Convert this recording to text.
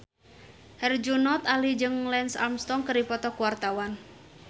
Herjunot Ali jeung Lance Armstrong keur dipoto ku wartawan